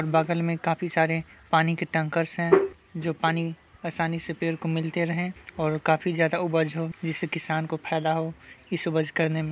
बगल में काफी सारे पानी के टैंकर्स है जो पानी आसानी से पेड़ को मिलते रहे और काफी ज्यादा उपज हो जिससे किसान को फायदा हो इस उपज करनेम |